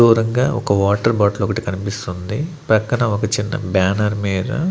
దూరంగా ఒక water bottle ఒకటి కనిపిస్తుంది ప్రక్కన ఒక చిన్న బ్యానర్ మీర --